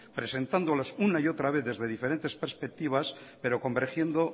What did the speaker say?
presentándolas una y otra vez desde diferentes perspectivas pero convergiendo